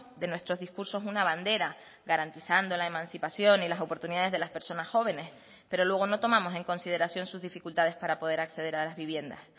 de nuestros discursos una bandera garantizando la emancipación y las oportunidades de las personas jóvenes pero luego no tomamos en consideración sus dificultades para poder acceder a las viviendas